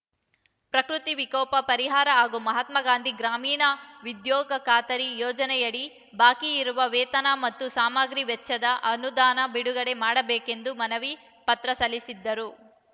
ಪ್ರಕೃತಿ ವಿಕೋಪ ಪರಿಹಾರ ಹಾಗೂ ಮಹಾತ್ಮ ಗಾಂಧಿ ಗ್ರಾಮೀಣ ಉದ್ಯೋಗ ಖಾತರಿ ಯೋಜನೆಯಡಿ ಬಾಕಿ ಇರುವ ವೇತನ ಮತ್ತು ಸಾಮಗ್ರಿ ವೆಚ್ಚದ ಅನುದಾನ ಬಿಡುಗಡೆ ಮಾಡಬೇಕೆಂದು ಮನವಿ ಪತ್ರ ಸಲ್ಲಿಸಿದ್ದರು